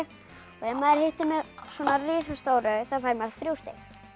ef maður hittir með svona risastóru þá fær maður þriggja stig